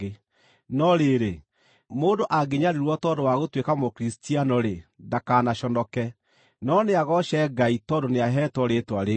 No rĩrĩ, mũndũ angĩnyariirwo tondũ wa gũtuĩka Mũkristiano-rĩ, ndakanaconoke, no nĩagooce Ngai tondũ nĩaheetwo rĩĩtwa rĩu.